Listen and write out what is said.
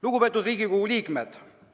Lugupeetud Riigikogu liikmed!